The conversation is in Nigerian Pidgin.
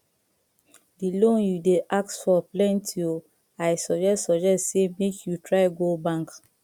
the loan you dey ask for plenty oo i suggest suggest say make you try go bank